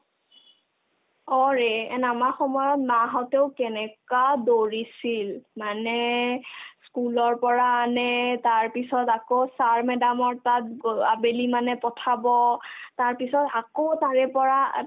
অ, ৰে and আমাৰ সময়ত মা হঁতেও কেনেকা কৰিছিল মানে school ৰ পৰা আনে তাৰপিছত আকৌ sir madam ৰ তাত গ' আবেলি মানে পঠাব তাৰপিছত আকৌ তাৰেপৰা